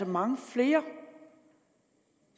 mange flere